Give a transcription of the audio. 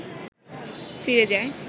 ফিরে যায়